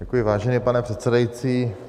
Děkuji, vážený pane předsedající.